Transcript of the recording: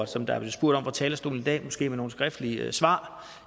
som der blev spurgt om fra talerstolen i dag måske med nogle skriftlige svar